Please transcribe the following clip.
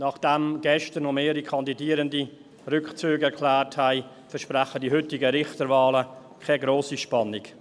Nachdem gestern noch mehrere Kandidierende ihren Rückzug erklärt haben, versprechen die heutigen Richterwahlen keine grosse Spannung.